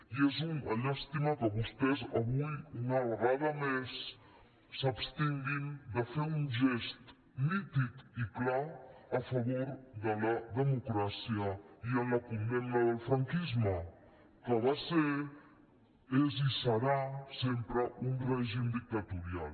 i és una llàstima que vostès avui una vegada més s’abstinguin de fer un gest nítid i clar a favor de la democràcia i de condemna del franquisme que va ser és i serà sempre un règim dictatorial